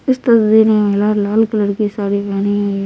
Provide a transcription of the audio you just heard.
इस तस्दीर महिला लाल कलर की साड़ी पहनी --